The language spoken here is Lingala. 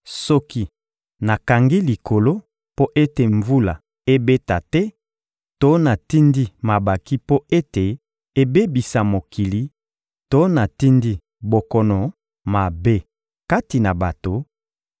Soki nakangi likolo mpo ete mvula ebeta te to natindi mabanki mpo ete ebebisa mokili to natindi bokono mabe kati na bato,